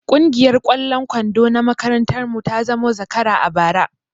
Kungiyar ƙwallon kwando na makarantar mu ta zamo zakara a bara